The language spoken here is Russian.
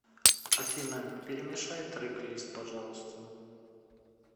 афина перемешай трек лист пожалуйста